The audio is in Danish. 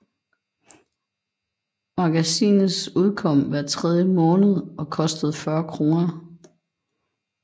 Magasines udkom hver tredje måned og kostede 40 kroner